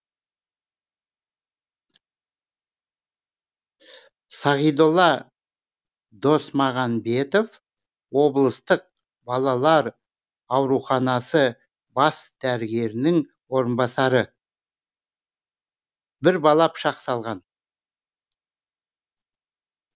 сағидолла досмағанбетов облыстық балалар ауруханасы бас дәрігерінің орынбасары бір бала пышақ салған